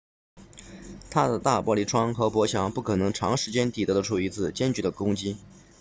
它的大玻璃窗和薄墙不可能长时间抵抗得住一次坚决的攻击